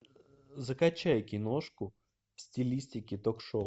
закачай киношку в стилистике ток шоу